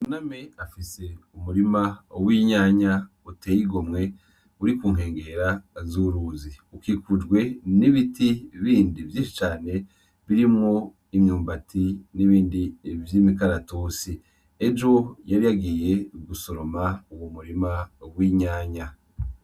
Buname afise umurima w'inyanya uteye igomwe uri ku nkengera z'uruzi, ukikujwe n'ibiti bindi vyinshi cane birimwo imyumbati nibindi vy'imikaratusi, ejo yari yagiye gusoroma uwo murima w'inyanya.